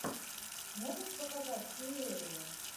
можешь показать фиерию